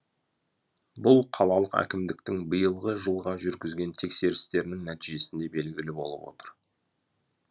бұл қалалық әкімдіктің биылғы жылға жүргізген тексерістерінің нәтижесінде белгілі болып отыр